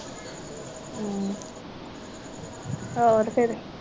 ਹੋਰ ਫੇਰ